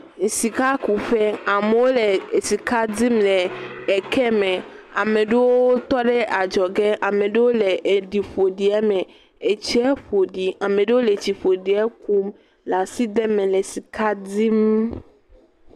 Esika ku ƒe. Amewo le eke me, ame aɖewo tɔ ɖe adzɔge, ame ɖewo le aɖi ƒoɖie me, etsia ƒoɖi, ame ɖewo tse le etsi ƒoɖie kum, le asi de me le sika dim.